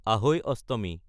আহৈ অষ্টমী